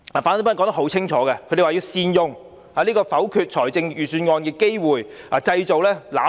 反對派清楚指出，要善用否決預算案的機會，製造"攬炒"。